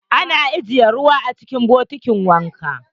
Ana ajiye ruwa cikin bokiti a ɗakin wanka.